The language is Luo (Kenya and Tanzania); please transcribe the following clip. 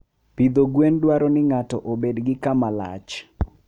Pidho gwen dwaro ni ng'ato obed gi kama lach.